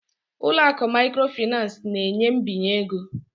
ụlọ akụ microfinance na-enye mbinye ego